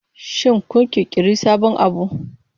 Shin kun ƙirƙiri sabon abu?